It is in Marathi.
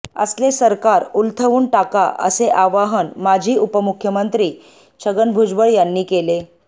असले सरकार उलथवून टाका असे आवाहन माजी उपमुख्यमंत्री छगन भुजबळ यांनी केले